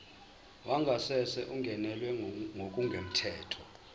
wangasese ungenelwe ngokungemthetho